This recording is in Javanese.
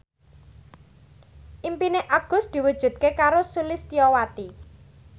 impine Agus diwujudke karo Sulistyowati